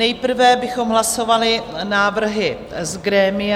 Nejprve bychom hlasovali návrhy z grémia.